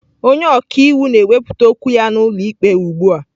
Onye ọka iwu na-ewepụta okwu ya n'ụlọ ikpe ugbu a.